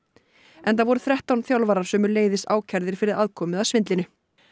enda voru þrettán þjálfarar sömuleiðis ákærðir fyrir aðkomu að svindlinu